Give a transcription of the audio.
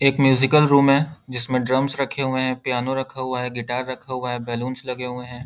एक musical room है जिसमें ड्रमस रखे हुए हैं पियानो रखा हुआ है गिटार रखा हुआ है बैलून्स लगे हुए हैं।